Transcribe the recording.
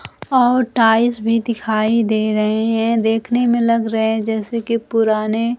और टाइल्स भी दिखाई दे रहे हैं देखने में लग रहे हैं जैसे कि पुराने--